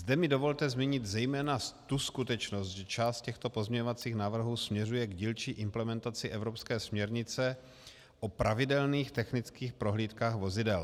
Zde mi dovolte zmínit zejména tu skutečnost, že část těchto pozměňovacích návrhů směřuje k dílčí implementaci evropské směrnice o pravidelných technických prohlídkách vozidel.